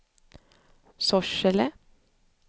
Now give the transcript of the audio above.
Sorsele